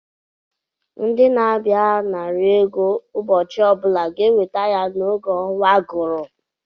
Ndị na-abịa anara ego ụbọchị ọbụla ga-enweta ya n’oge ọnwa gụrụ